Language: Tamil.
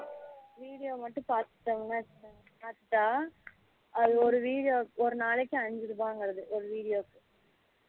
video மட்டும் பாத்துடங்கணு வச்சிகோயேன் பாத்துட்டா அது ஒரு video ஒரு நாளைக்கு ஐந்து ரூபாய் இங்குறது ஒரு video